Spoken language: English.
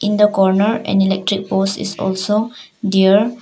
In the corner an electric board is also there.